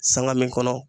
Sanŋa min kɔnɔ